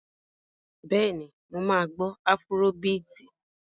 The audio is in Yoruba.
Bẹ́ẹ̀ni, mo máa gbọ́ afúró biìtì.